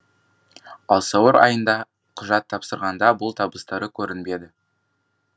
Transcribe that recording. ал сәуір айында құжат тапсырғанда бұл табыстары көрінбеді